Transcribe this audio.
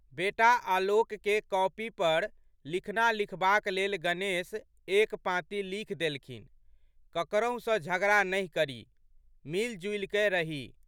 बेटा आलोकके कॉपी पर लिखना लिखबाक लेल गणेश एक पाँति लिखि देलखिन, ककरहु सँ झगड़ा नहि करी, मिलिजुलिकए रही।